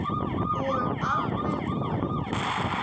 Og alveg krunk!